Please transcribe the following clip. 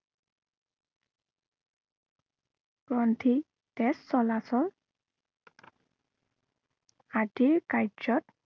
গ্ৰন্থি, তেজ চলাচল আদিৰ কাৰ্যত